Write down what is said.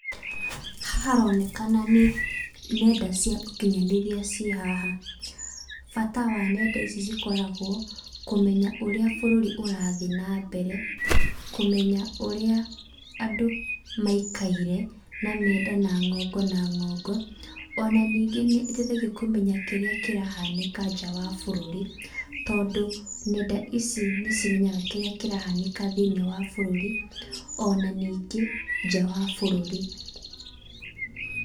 Haha haronekana nĩ nenda cia ũkinyanĩria ciĩ haha. Bata wa nenda ici cikoragwo, kũmenya ũrĩa bũrũri ũrathiĩ nambere, kũmenya ũrĩa andũ maikaire, na menda ngongo na ngongo, ona ningĩ nĩiteithagia kũmenya kĩrĩa kĩrahanĩka nja wa bũrũri, tondũ nenda ici nĩcimenyaga kĩrĩa kĩrahanĩka thĩinĩ wa bũrũri, ona ningĩ, nja wa bũrũri.